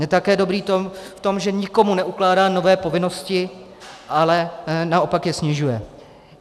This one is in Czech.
Je také dobrý v tom, že nikomu neukládá nové povinnosti, ale naopak je snižuje.